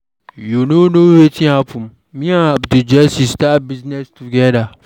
You no know wetin happen. Me abd Jesse start business together.